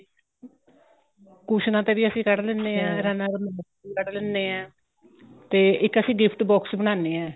ਕੁਸ਼ਨਾ ਤੇ ਵੀ ਅਸੀਂ ਕੱਢ ਲਿੰਨੇ ਆ runner ਕੱਢ ਲੈਣੇ ਆ ਤੇ ਇੱਕ ਅਸੀਂ gift box ਬਨਾਣੇ ਆ